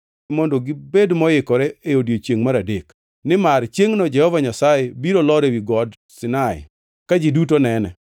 mondo gibed moikore e odiechiengʼ mar adek, nimar chiengʼno Jehova Nyasaye biro lor ewi Got Sinai ka ji duto nene.